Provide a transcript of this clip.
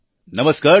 નમસ્કાર ડો